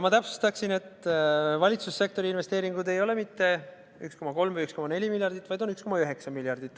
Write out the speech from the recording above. Ma täpsustan, et valitsussektori investeeringuid ei ole mitte 1,3 või 1,4 miljardit eurot, vaid 1,9 miljardit eurot.